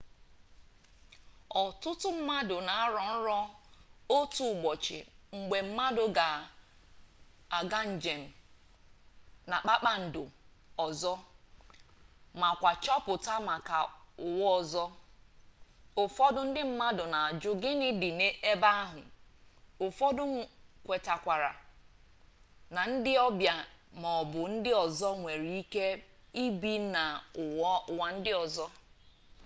otutu mmadu n'aro nro otu ubochi mgbe mmadu ga ejenjem na kpakpando ozo ma kwa choputa maka uwa ozo ufodu ndi mmadu n'aju gini di ebe ahu ufodu kwetere na ndi obia ma obu ndu ozo nwere ike ibi na uwa ndi ozo